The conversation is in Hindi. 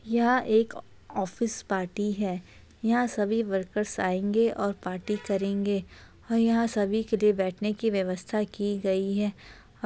यह एक ऑफिस पार्टी है यहाँ सभी वर्कर आएंगे और पार्टी करेंगे और यहाँ सभी के लिए बैठने की व्यवस्था की गई है। ]